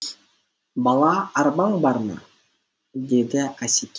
бала арбаң бар ма деді асекең